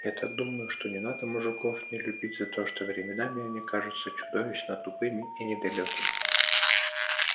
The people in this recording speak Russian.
я так думаю что не надо мужиков не любить за то что временами они кажутся чудовищно тупыми и недалёкими